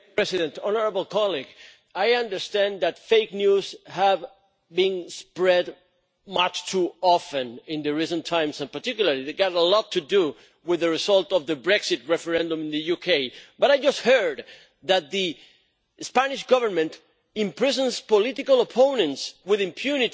Honourable colleague, I understand that fake news has been spread much too often in recent times, and in particular it had a lot to do with the result of the Brexit referendum in the UK, but I just heard you say that the Spanish Government imprisons political opponents with impunity.